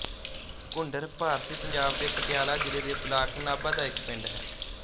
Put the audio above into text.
ਘੁੰਡਰ ਭਾਰਤੀ ਪੰਜਾਬ ਦੇ ਪਟਿਆਲਾ ਜ਼ਿਲ੍ਹੇ ਦੇ ਬਲਾਕ ਨਾਭਾ ਦਾ ਇੱਕ ਪਿੰਡ ਹੈ